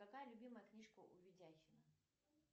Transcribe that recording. какая любимая книжка у видяхина